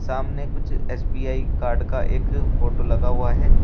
सामने कुछ SBI card का एक फोटो लगा हुआ है।